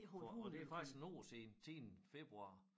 For og det faktisk en år siden siden februar